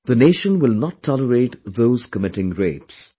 The nation will not tolerate those committing rapes